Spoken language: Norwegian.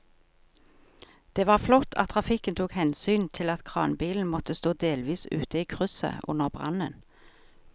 Det var flott at trafikken tok hensyn til at kranbilen måtte stå delvis ute i krysset under brannen.